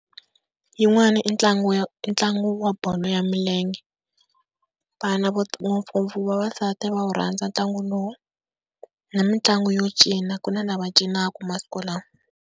Yin'wana i ntlangu ya i ntlangu wa bolo ya milenge, vana ngopfungopfu vavasati va wu rhandza ntlangu lowu, na mitlangu yo cina ku na lava cinaka masiku lawa.